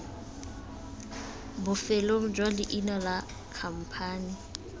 bofelong jwa leina la khamphane